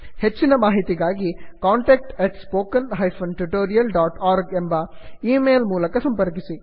ಹೆಚ್ಚಿನ ಮಾಹಿತಿಗಾಗಿ contact at spoken hyphen tutorial dot org ಎಂಬ ಈ ಮೇಲ್ ಮೂಲಕ ಸಂಪರ್ಕಿಸಿ